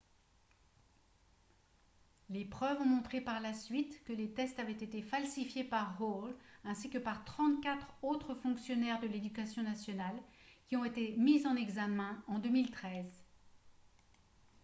les preuves ont montré par la suite que les tests avaient été falsifiés par hall ainsi que par 34 autres fonctionnaires de l'éducation nationale qui ont été mis en examen en 2013